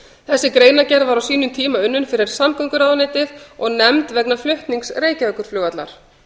þessi greinargerð var á sínum tíma unnin fyrir samgönguráðuneytið og nefnd vegna flutnings reykjavíkurflugvallar